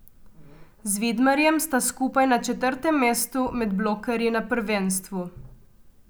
Z Vidmarjem sta skupaj na četrtem mestu med blokerji na prvenstvu.